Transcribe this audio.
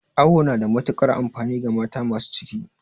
Awo na da matukar amfani ga mata masu ciki